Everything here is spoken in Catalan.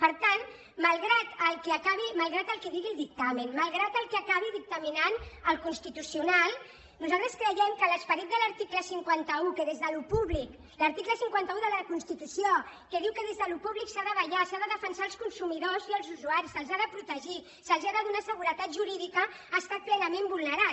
per tant malgrat el que digui el dictamen malgrat el que acabi dictaminant el constitucional nosaltres creiem que l’esperit de l’article cinquanta un de la constitució que diu que des d’allò públic s’ha de vetllar s’han de defensar els consumidors i els usuaris se’ls ha de protegir se’ls ha de donar seguretat jurídica ha estat plenament vulnerat